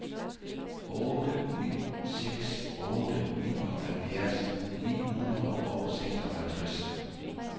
otte ni seks otte nioghalvfjerds ni hundrede og seksoghalvtreds